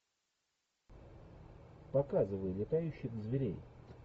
показывай летающих зверей